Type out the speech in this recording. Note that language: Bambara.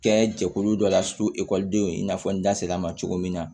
Kɛ jɛkulu dɔ la denw i n'a fɔ n da ma cogo min na